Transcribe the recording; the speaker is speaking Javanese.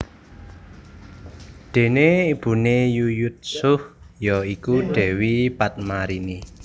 Dene ibune Yuyutsuh ya iku Dewi Padmarini